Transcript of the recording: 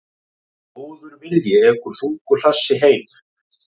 Góður vilji ekur þungu hlassi heim.